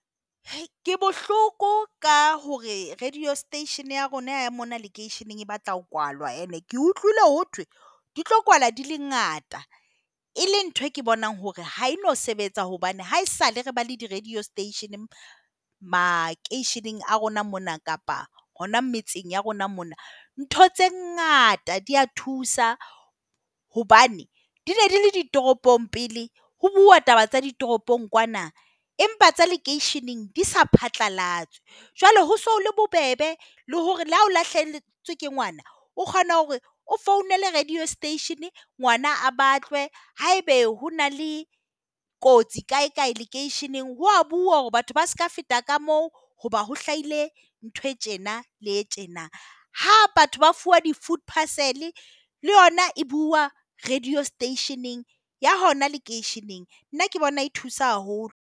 Ke bohloko ka hore radio station ya rona mona lekeisheneng e batla ho kwalwa. Ene ke utlwile ho thwe di tlo kwala di le ngata e le nthwe ke bonang hore ha e no sebetsa hobane haesale re ba le di radio station makeisheneng a rona mona kapa hona metseng ya rona mona, ntho tse ngata di a thusa. Hobane di ne di le ditoropong pele ho buuwa taba tsa ditoropong kwana empa tsa lekeisheneng di sa phatlalatswe. Jwale ho se ho le bobebe le hore le ha o lahlehetswe ke ngwana, o kgona hore o founele radio station ngwana a batlwe. Haebe ho na le kotsi kaekae lekeisheneng ho a buuwa hore batho ba seka feta ka moo hoba ho hlahile ntho e tjena le e tjena. Ha batho ba fuwa di-food parcel le yona e buuwa radio station-eng ya hona lekeisheneng. Nna ke bona e thusa haholo.